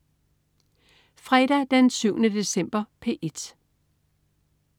Fredag den 7. december - P1: